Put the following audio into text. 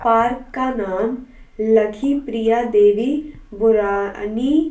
park का नाम लकी प्रिया देवी बुरानी--